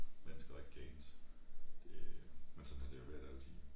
Mennesker der ikke kan enes det men sådan har det været altid